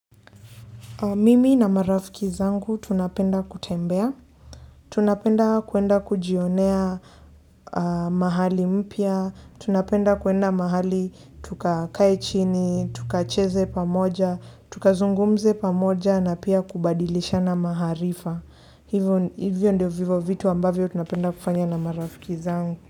Mimi na marafiki zangu tunapenda kutembea, tunapenda kuenda kujionea mahali mpya, tunapenda kuenda mahali tukakae chini, tukacheze pamoja, tukazungumze pamoja na pia kubadilishana maharifa. Hivyo ndio vivo vitu ambavyo tunapenda kufanya na marafiki zangu.